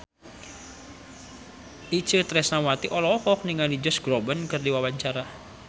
Itje Tresnawati olohok ningali Josh Groban keur diwawancara